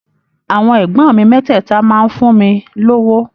Àwọn ẹ̀gbọ́n mi mẹ́tẹ̀ẹ̀ta máa ń fún mi lówó.